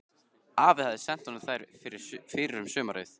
Afi hafði sent honum þær fyrr um sumarið.